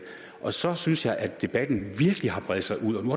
og så synes jeg at debatten virkelig har bredt sig ud og nu